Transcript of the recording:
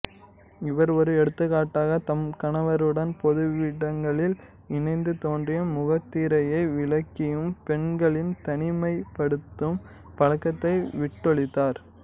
இவரே ஓர் எடுத்துக்காட்டாக தம் கணவருடன் பொதுவிடங்களில் இணைந்து தோன்றியும் முகத்திரையை விலக்கியும் பெண்களின் தனிமைப்படுத்தும் பழக்கத்தை விட்டொழித்தார்